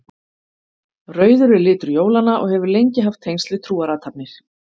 rauður er litur jólanna og hefur lengi haft tengsl við trúarathafnir